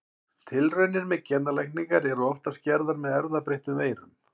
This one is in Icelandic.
Tilraunir með genalækningar eru oftast gerðar með erfðabreyttum veirum.